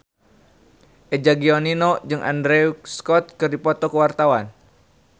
Eza Gionino jeung Andrew Scott keur dipoto ku wartawan